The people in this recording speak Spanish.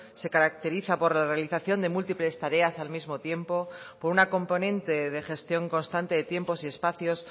se caracteriza por la realización de múltiples tareas al mismo tiempo por una componente de gestión constante de tiempos y espacios